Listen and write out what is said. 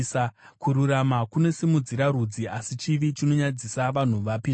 Kururama kunosimudzira rudzi, asi chivi chinonyadzisa vanhu vapi zvavo.